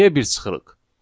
Niyə bir çıxırıq?